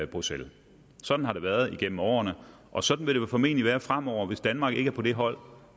bruxelles sådan har det været igennem årene og sådan vil det formentlig være fremover hvis danmark ikke er på det hold